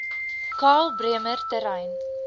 karl bremer terrein